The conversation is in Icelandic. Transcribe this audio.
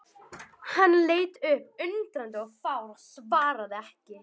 Hann leit upp undrandi og fár og svaraði ekki.